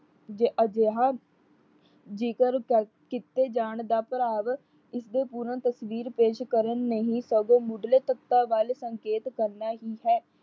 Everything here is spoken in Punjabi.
ਜ ਅਜਿਹਾ ਜਿਕਰ ਕੀਤੇ ਜਾਣ ਦਾ ਭਰਾਵ ਇਸਦੇ ਪੂਰਨ ਤਸਵੀਰ ਪੇਸ਼ ਕਰਨ ਨਹੀਂ ਸਗੋਂ ਮੁਢਲੇ ਤੱਤਾ ਵੱਲ ਸੰਕੇਤ ਕਰਨਾ ਹੀ ਹੈ।